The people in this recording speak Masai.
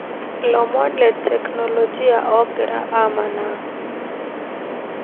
lomon le teknolojia ogira amanaa